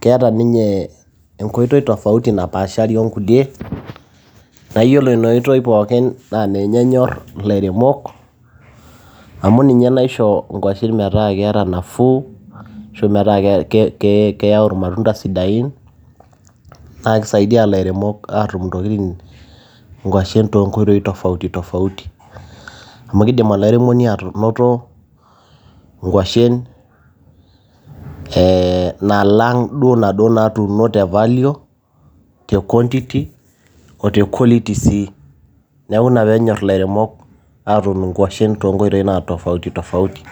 keeta ninye enkoitoi tofauti napaashari onkulie, naaiyiolo injaoitoi pooki naa ninye enyor ilairemok, amu ninye naisho inkwashen metaa keeta nafuu. metaa keitayu ilmatunda sidain, naa keisaidia ilairemok aatum intokiti, inkwashen too inkoitoi tofauti tofauti. Amu keidim olairemoni anoto inkwashen ee nalang' nadua naatuuno te value , te quantity o te quality sii neaku ina peenyor ilairemok atuun inkwashen too inkoitoi naa tofauti tofauti.